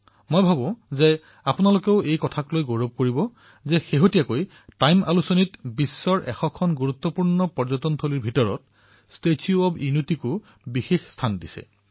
বন্ধুসকল এনে কোন ভাৰতীয় হব যাৰ এই কথাক লৈ গৰ্ব নহব যে কিছুদিন পূৰ্বে টাইম আলোচনীৰ পৃষ্ঠাত বিশ্বত ১০০খন গুৰুত্বপূৰ্ণ পৰ্যটন স্থানৰ ভিতৰত ষ্টেচু অব্ ইউনিটীয়েও স্থান পাইছে